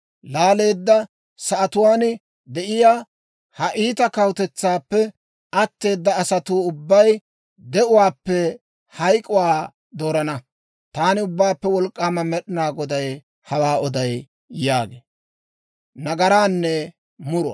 Laaleedda sa'atuwaan de'iyaa, ha iita kawutetsaappe atteeda asatuu ubbay de'uwaappe hayk'k'uwaa doorana. Taani Ubbaappe Wolk'k'aama Med'inaa Goday hawaa oday» yaagee.